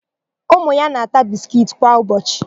Ụmụ ya na-ata biskiiti kwa ụbọchị.